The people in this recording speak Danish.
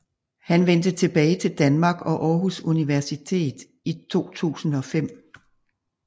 Han vendte tilbage til Danmark og Aarhus Universitet i 2005